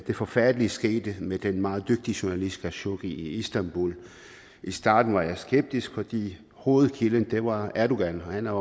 forfærdelige skete med den meget dygtige journalist khashoggi i istanbul i starten var jeg skeptisk fordi hovedkilden var erdogan og han er